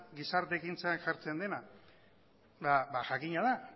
gizarte ekintzan jartzen dena eta jakina da